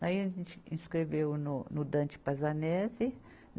Daí a gente escreveu no, no Dante Pazzanese.